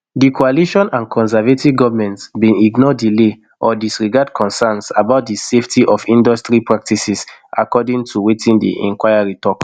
di coalition and conservative goment bin ignore delay or disregard concerns about di safety of industry practices according to wetin di inquiry tok